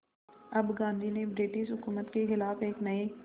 अब गांधी ने ब्रिटिश हुकूमत के ख़िलाफ़ एक नये